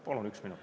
Palun üks minut.